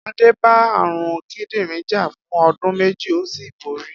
Adé bá àrùn kídìrin jà fún o̩dún méjì ó sì borí